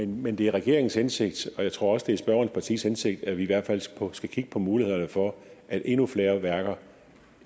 men det er regeringens hensigt og jeg tror også at det er spørgerens partiets hensigt at vi i hvert fald skal kigge på mulighederne for at endnu flere værker